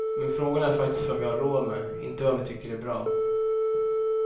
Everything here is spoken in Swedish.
Men frågan är faktiskt vad vi har råd med, inte vad vi tycker är bra.